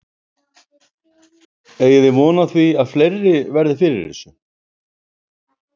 Eigið þið von á því að fleiri verði fyrir þessu?